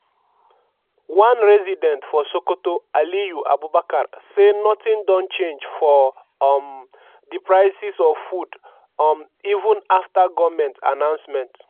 one resident for sokoto aliyu abubakar say nothing don change for um di prices of food um even afta goment announcement.